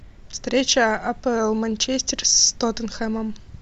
встреча апл манчестер с тоттенхэмом